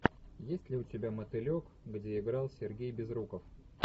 есть ли у тебя мотылек где играл сергей безруков